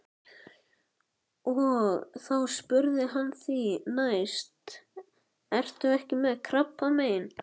Og þá spurði hann því næst: Ertu ekki með krabbamein?